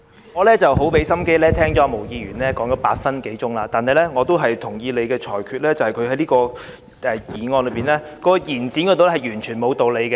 我很用心聆聽毛議員發言超過8分鐘，但我也同意你的裁決，便是她就這項延展期限的議案提出的論點全沒理據。